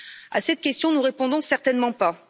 À cette question, nous répondons, certainement pas.